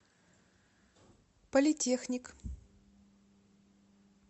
политехник